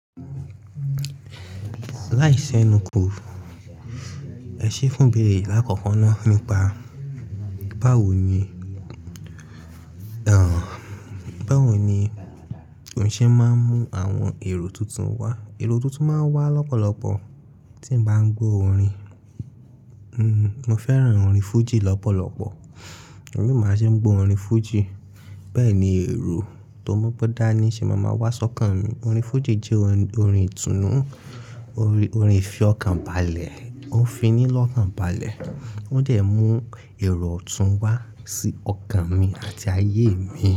Láì sẹ́nu kù, ẹ ṣe é fún bèrè lákọ̀ọ̀kan ná nípa báwo ni, báwo ni òun ṣe máa ń mú àwọn èrò tuntun wá. Èrò tuntun máa ń wá lọ́pọ̀lọpọ̀ tí mo bá ń gbọ́ orin. Mo fẹ́ràn orin fújì lọ́pọ̀lọpọ̀, èmi máa ṣe ń gbọ́ orin fújì. Bẹ́ẹ̀ ni èrò tó mu gbọn dání ṣe máa ma wá sọ́kàn mi. Orin fújì jẹ́ orin ìtùnú, orin ìfi ọkàn balẹ̀, ó ń fi ní lọ́kàn balẹ̀, ó dè mú èrò ọ̀tún wá sí ọkàn mi àti ayé mi.